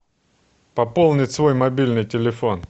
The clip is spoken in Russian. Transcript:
пополнить свой мобильный телефон